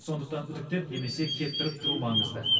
сондықтан үтіктеп немесе кептіріп тұру маңызды